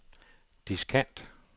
diskant